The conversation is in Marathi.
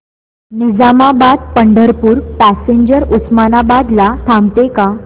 निजामाबाद पंढरपूर पॅसेंजर उस्मानाबाद ला थांबते का